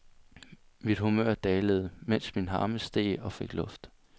Mit humør dalede, mens min harme steg og fik luft.